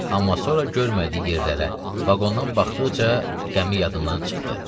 Amma sonra görmədiyi yerlərə, vaqondan baxdıqca qəmi yadından çıxdı.